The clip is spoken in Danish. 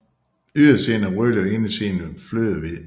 Ydersiden er rødlig og indersiden flødehvid